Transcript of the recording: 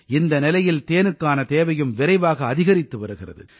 இந்த நிலையில் தேனுக்கான தேவையும் விரைவாக அதிகரித்து வருகிறது